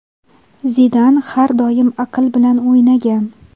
Zidan har doim aql bilan o‘ynagan.